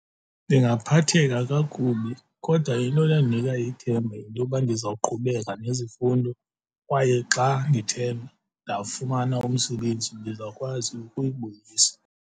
Ndingaphatheka kakubi kodwa into enondinika ithemba yintoba ndizawuqhubeka nezifundo kwaye xa ndithemba ndawufumana umsebenzi ndizawukwazi ukuyibuyisa.